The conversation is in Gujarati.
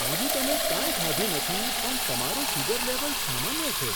આજે તમે કંઈ ખાધું નથી, પણ તમારું સુગર લેવલ સામાન્ય છે!